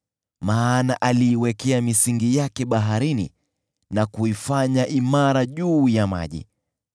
maana aliiwekea misingi yake baharini na kuifanya imara juu ya maji.